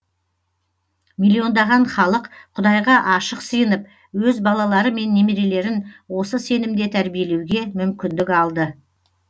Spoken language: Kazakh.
миллиондаған халық құдайға ашық сыйынып өз балалары мен немерелерін осы сенімде тәрбиелеуге мүмкіндік алды